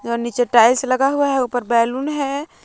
नीचे टाइल्स लगा हुआ है ऊपर बैलून है।